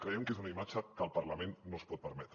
creiem que és una imatge que el parlament no es pot permetre